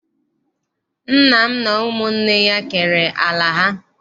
Nna m na ụmụnne ya kere ala ha.